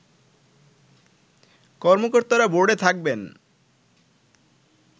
কর্মকর্তারা বোর্ডে থাকবেন